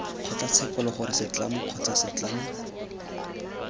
kgotlatshekelo gore setlamo kgotsa setlamo